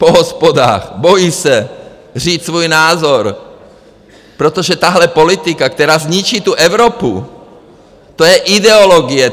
Po hospodách, bojí se říct svůj názor, protože tahle politika, která zničí tu Evropu, to je ideologie.